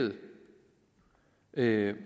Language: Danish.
og elleve